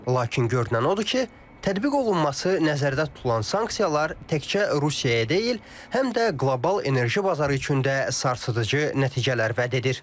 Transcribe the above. Lakin görünən odur ki, tətbiq olunması nəzərdə tutulan sanksiyalar təkcə Rusiyaya deyil, həm də qlobal enerji bazarı üçün də sarsıdıcı nəticələr vəd edir.